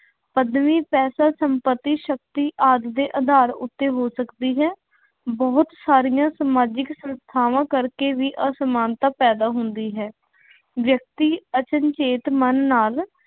ਪੱਦਵੀ, ਪੈਸਾ, ਸੰਪੱਤੀ, ਸ਼ਕਤੀ ਆਦਿ ਦੇ ਆਧਾਰ ਉੱਤੇ ਹੋ ਸਕਦੀ ਹੈ। ਬਹੁਤ ਸਾਰੀਆਂ ਸਮਾਜਿਕ ਸੰਸਥਾਵਾ ਕਰਕੇ ਵੀ ਅਸਮਾਨਤਾ ਪੈਦਾ ਹੁੰਦੀ ਹੈ। ਵਿਅਕਤੀ ਅਚਨਚੇਤ ਮਨ ਨਾਲ